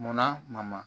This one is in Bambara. Munna ma